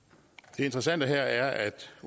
interessante her er at